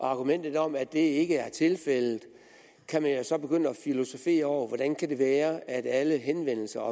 argumentet om at det ikke er tilfældet kan man jo så begynde at filosofere over hvordan det kan være at alle henvendelser